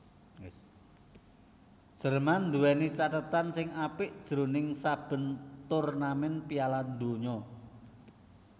Jerman nduwèni cathetan sing apik jroning saben turnamèn Piala Donya